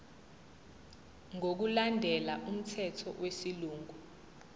ngokulandela umthetho wesilungu